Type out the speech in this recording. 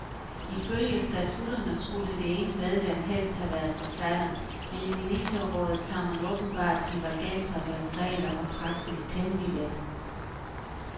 Ifølge statutterne skulle det ene medlem helst have været forfatter, men i ministerrådet tager man åbenbart divergenser mellem regler og praksis temmelig let.